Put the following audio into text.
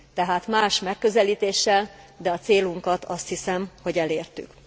Tehát más megközelítéssel, de a célunkat azt hiszem, hogy elértük.